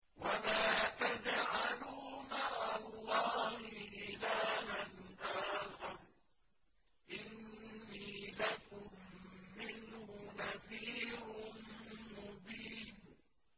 وَلَا تَجْعَلُوا مَعَ اللَّهِ إِلَٰهًا آخَرَ ۖ إِنِّي لَكُم مِّنْهُ نَذِيرٌ مُّبِينٌ